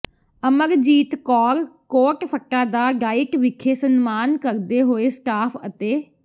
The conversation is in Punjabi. ਅਮਰਜੀਤ ਕੌਰ ਕੋਟਫੱਤਾ ਦਾ ਡਾਇਟ ਵਿਖੇ ਸਨਮਾਨ ਕਰਦੇ ਹੋਏ ਸਟਾਫ ਅਤੇ